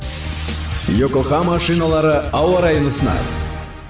йокохама шиналары ауа райын ұсынады